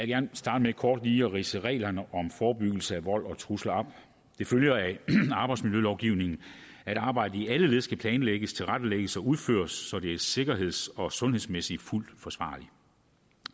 gerne starte med kort lige at ridse reglerne om forebyggelse af vold og trusler op det følger af arbejdsmiljølovgivningen at arbejdet i alle led skal planlægges tilrettelægges og udføres så det er sikkerheds og sundhedsmæssigt fuldt forsvarligt